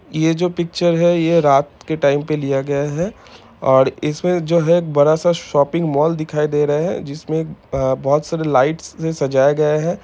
ये जो पिक्चर है ये रात के टाइम पर लिया गया है ओर इसमे जो है एक बड़ा सा शॉपिंग माल दिखाई दे रहा है जिसमे अ बोहोत सारी लाइट से सजाया गया है।